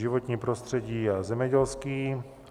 Životní prostředí a zemědělský.